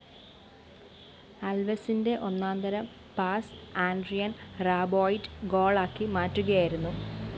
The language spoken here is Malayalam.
അല്‍വെസിന്റെ ഒന്നാന്തരം പാസ്‌ ആഡ്രിയന്‍ റാബോയിറ്റ് ഗോളാക്കി മാറ്റുകയായിരുന്നു